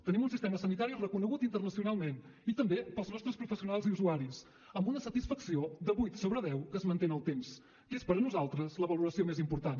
tenim un sistema sanitari reconegut internacionalment i també pels nostres professionals i usuaris amb una satisfacció de vuit sobre deu que es manté en el temps que és per a nosaltres la valoració més important